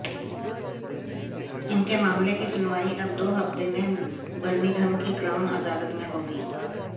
इनके मामले की सुनवाई अब दो हफ्ते में बर्मिंघम की क्राउन अदालत में होगी